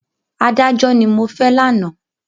Adájọ́ ni mo fẹ́ lánàá.